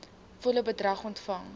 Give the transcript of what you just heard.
volle bedrag ontvang